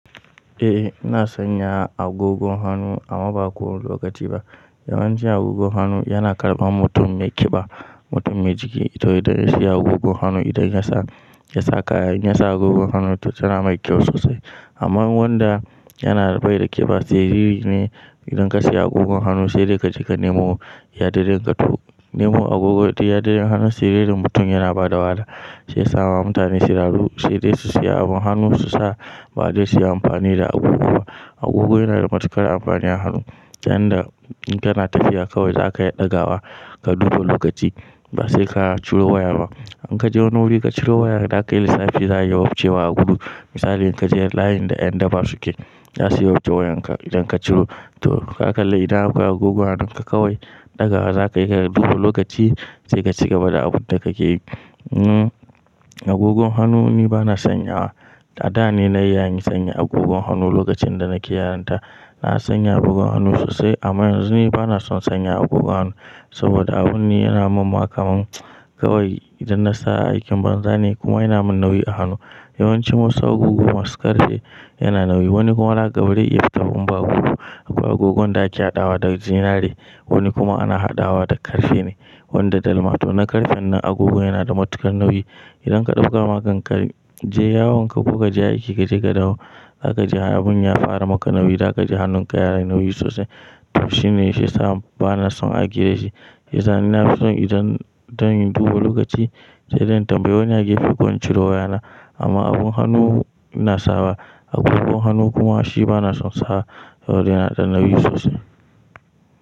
Eh, ina sanya agogon hannu amma ba kowane lokaci ba. Yawanci agogon hannu yana karɓar mutum mai ƙiba, mutum mai jiki. To idan ya siya agogon hannu, idan ya sa, ya saka, in ya sa agogon hannu to tana mai kyau sosai. Amma wanda yana raba da ƙiba, siriri ne. Idan ka siya agogon hannu sai dai ka ji ka nemo ya dade ka tu nemo agogon, ya dade ka hanun sai dai mutum yana bada wahala. Shi ya sa wa mutane suyi aro sai dai su siya abin hannu su sa ba dai su yi amfani da agogo ba. Agogo yana da matuƙar amfani a hannu. Inda kana tafiya kawai za ka iya ɗaga wa ka duba lokaci ba sai ka ciro waya ba. In ka je wuri ka ciro wayarka za ka yi lissafi za su yi wofce wa agogo. Misali in ka je layin da ƴan daba suke za su yi wofce wayarka idan ka ciro to ka kalla idan akwai agogon hannu ka kawai ɗaga wa za ka iya duba lokaci sai ka cigaba da abun da ka ke yi. Hmm agogon hannu ni ba na sanya wa. A da ne na yi yayin sanya agogon hannu lokacin da na ke yaranta. Na sanya agogon hannu sosai amma yanzu ni ba na son sanya agogon hannu saboda abun yana min makamun kawai idan na sa a aikin banza ne kuma yana min nauyi a hannu. Yawanci wasu agogona masu ƙarfe yana nauyi. Wani kuma zakaaga baze iya fita ba agogo, ba agogon da ake haɗawa da zinari. Wani kuma ana haɗawa da ƙarfe ne wani da dalma. To na ƙarfen nan agogo yana da matuƙar nauyi. Idan ka ɗauka magan ka je yawon ka ko ka je aiki ka je ka dawo, za ka ji abun ya fara maka nauyi. Za ka ji hannun ka yayi nauyi sosai. To shine shi ya sa ba na son aiki da shi. Sai dai na fi son idan, don in duba lokaci sai dai in tambayi wani a gefe ko in ciro wayana. Amma abin hannu ina sawa agogon hannu kuma shi ba na son sawa saboda yana da nauyi sosai.